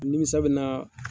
Nimisa bina